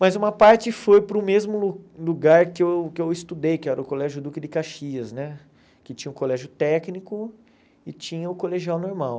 Mas uma parte foi para o mesmo lugar que eu que eu estudei, que era o Colégio Duque de Caxias, né que tinha o colégio técnico e tinha o colegial normal.